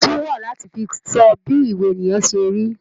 Òwe tún wà láti fi sọ bí ìwà ènìyàn se rí